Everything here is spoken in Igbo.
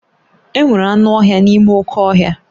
Enwere anụ ọhịa n'ime oké ọhịa